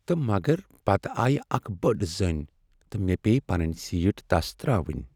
تہٕ مگر پتہٕ آیہ اکھ بٔڑ زٔنۍ تہٕ مےٚ پیٚیہ پنٕنۍ سیٖٹ تس ترٛاوٕنۍ۔